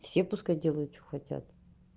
все пускай делают что хотят